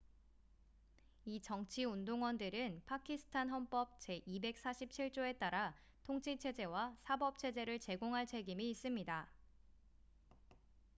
이 정치 운동원들은 파키스탄 헌법 제247조에 따라 통치 체제와 사법 체제를 제공할 책임이 있습니다